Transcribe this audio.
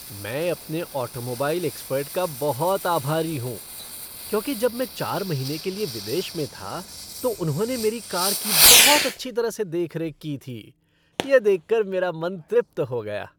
मैं अपने automobile expert का बहुत आभारी हूँ क्योंकि जब मैं चार महीने के लिए विदेश में था तो उन्होंने मेरी कार की बहुत अच्छी तरह से देखरेख की थी। यह देख कर मेरा मन तृप्त हो गया।